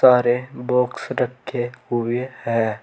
सारे बॉक्स रखे हुए हैं।